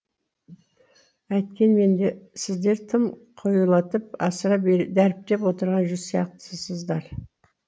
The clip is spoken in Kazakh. әйткенмен де сіздер тым қоюлатып асыра дәріптеп отырған сияқтысыздар